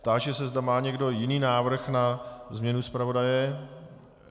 Táži se, zda má někdo jiný návrh na změnu zpravodaje.